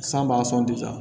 San b'a sɔnje